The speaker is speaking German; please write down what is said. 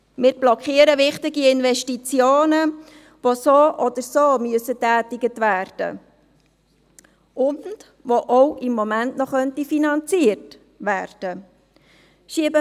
Wir blockieren wichtige Investitionen, die so oder so getätigt werden müssen und die im Moment noch finanziert werden könnten.